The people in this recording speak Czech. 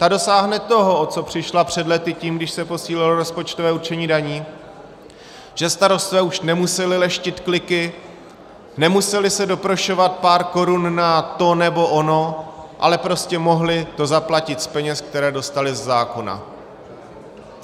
Ta dosáhne toho, o co přišla před lety tím, když se posílilo rozpočtové určení daní, že starostové už nemuseli leštit kliky, nemuseli se doprošovat pár korun na to nebo ono, ale prostě mohli to zaplatit z peněz, které dostali ze zákona.